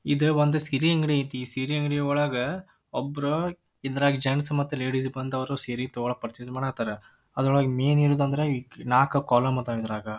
ಈದ್ ಒಂದ್ ಸೀರೆ ಅಂಗಡಿ ಐತಿ ಸೀರೆ ಅಂಗಡಿ ಒಳಗ್ ಒಬ್ರ ಇದ್ರಗ್ ಜೆಂಟ್ಸ್ ಮತ್ತ್ ಲೇಡೀಸ್ ಬಂದವರು ಸೀರೆ ತೋಕೋಳಕ್ ಪರ್ಚೆಸ್ ಮಾಡಕ್ಕತ್ತರ್. ಅದ್ರೊಳಗ್ ಮೇನ್ ಇರೋದದ್ರಂದ್ರೆ ನಾಕ್ ಕಾಲಂ ಅದ್ ಇದ್ರಗ.